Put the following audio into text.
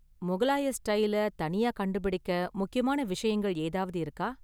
முகலாய ஸ்டைலை தனியா கண்டுபிடிக்க முக்கியமான விஷயங்கள் ஏதாவது இருக்கா?